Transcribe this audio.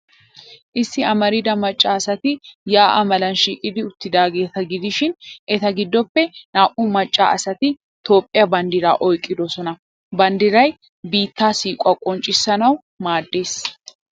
Issi amarida macca asati yaa'a malan shiiqidi uttidaageeta gidishin, eta giddoppe naa''u macca asati Toophphiyaa banddiraa oyqqidoosona. Banddiray biittaa siiquwaa qonccissanawu maaddees.